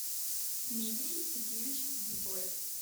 дмитрий сергеевич дзбоев